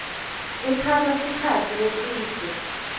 kutsatsa sikhatsi lesidze